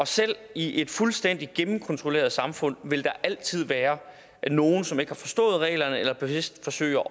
selv i et fuldstændig gennemkontrolleret samfund vil der altid være nogle som ikke har forstået reglerne eller bevidst forsøger